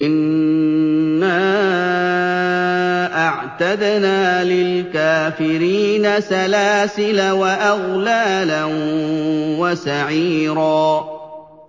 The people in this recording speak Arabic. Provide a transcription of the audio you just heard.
إِنَّا أَعْتَدْنَا لِلْكَافِرِينَ سَلَاسِلَ وَأَغْلَالًا وَسَعِيرًا